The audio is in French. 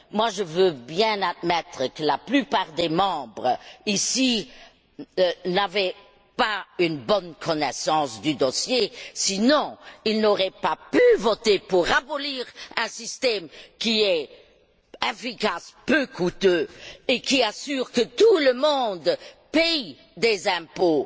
Je veux bien admettre que la plupart des membres ici n'avaient pas une bonne connaissance du dossier, sinon ils n'auraient pas pu voter pour abolir un système qui est efficace, peu coûteux et qui assure que tout le monde paie des impôts